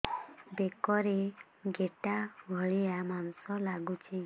ବେକରେ ଗେଟା ଭଳିଆ ମାଂସ ଲାଗୁଚି